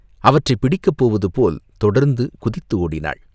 அவற்றைப் பிடிக்கப் போவதுபோல் தொடர்ந்து குதித்து ஓடினாள்.